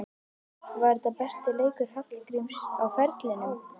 Var þetta besti leikur Hallgríms á ferlinum?